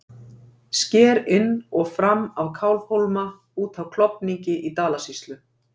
sker inn og fram af kálfhólma út af klofningi í dalasýslu